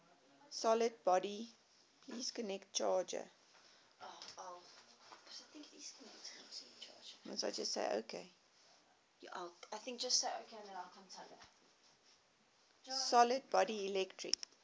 solid body electric